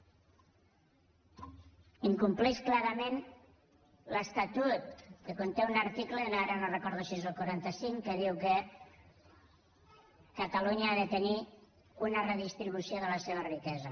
incompleix clarament l’estatut que conté un article ara no recordo si és el quaranta cinc que diu que catalunya ha de tenir una redistribució de la seva riquesa